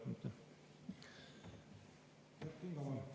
Kert Kingo, palun!